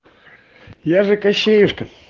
я же кощеюшка